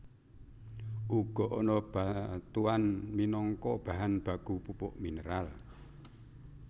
Uga ana batuan minangka bahan baku pupuk mineral